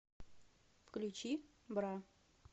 включи бра